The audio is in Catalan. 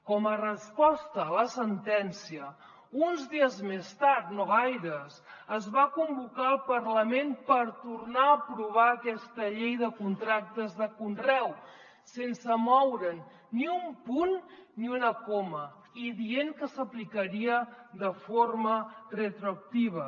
com a resposta a la sentència uns dies més tard no gaires es va convocar el parlament per tornar a aprovar aquesta llei de contractes de conreu sense moure’n ni un punt ni una coma i dient que s’aplicaria de forma retroactiva